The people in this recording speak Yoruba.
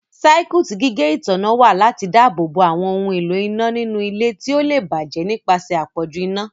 Circuit gígé ìtanná wa lati dáàbòbo awon òun ìlò iná nínú ilé tíó le bàjé nipasẹ apọju iná.